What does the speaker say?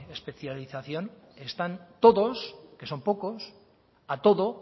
especialización están todos que son pocos a todo